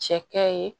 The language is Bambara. Cɛkɛ ye